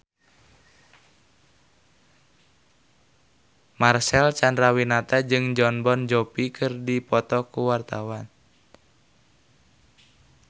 Marcel Chandrawinata jeung Jon Bon Jovi keur dipoto ku wartawan